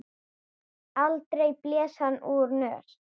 Aldrei blés hann úr nös.